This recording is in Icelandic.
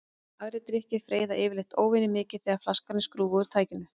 Hvort er réttari þýðing á orðum Sesars: Teningnum er kastað eða Teningunum?